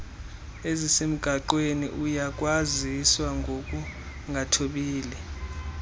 ezisemgaqweni uyakwaziswa ngokungathobeli